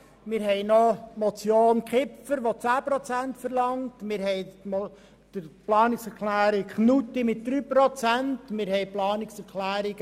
Wir haben noch eine Motion Kipfer, die 10 Prozent verlangt, die Planungserklärung Knutti will 3 Prozent, und die Planungserklärungen